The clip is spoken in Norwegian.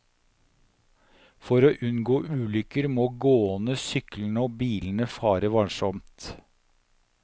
For å unngå ulykker må gående, syklende og bilende fare varsomt.